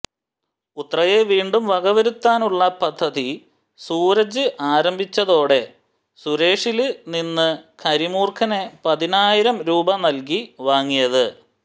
ഉത്രയെ വീണ്ടും വകവരുത്താനുള്ള പദ്ധതി സൂരജ് ആരംഭിച്ചതോടെ സുരേഷില് നിന്ന് കരിമൂര്ഖനെ പതിനായിരം രൂപ നല്കി വാങ്ങിയത്